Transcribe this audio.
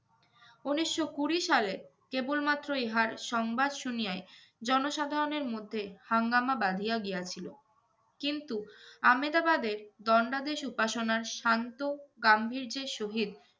উনিশশো কুড়ি সালে কেবলমাত্র ইহার সংবাদ শুনিয়াই জনসাধারণের মধ্যে হাঙ্গামা বাঁধিয়া গিয়াছিল। কিন্তু আমেদাবাদের দণ্ডাদেশ উপাসনার শান্ত গাম্ভীর্যের সহিত